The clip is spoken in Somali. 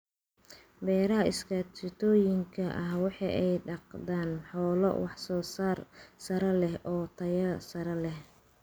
Beeraha iskaashatooyinka waxa ay dhaqdaan xoolo wax-soosaar sare leh oo tayo sare leh.